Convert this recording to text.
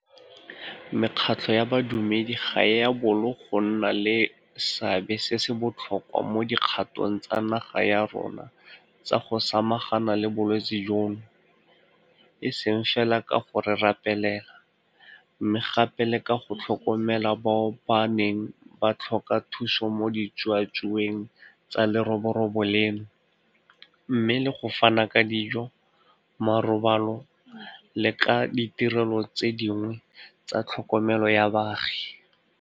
Mekgatlho ya badumedi ga e a bolo go nna le seabe se se botlhokwa mo dikgatong tsa naga ya rona tsa go samagana le bolwetse jono, e seng fela ka go re rapelela, mme gape le ka go tlhokomela bao ba neng ba tlhoka thuso mo ditsuatsueng tsa leroborobo leno, mmogo le go fana ka dijo, marobalo le ka ditirelo tse dingwe tsa tlhokomelo ya baagi.